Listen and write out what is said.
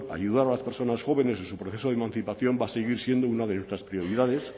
ayudar a las personas jóvenes y su proceso de emancipación va a seguir siendo una de nuestras prioridades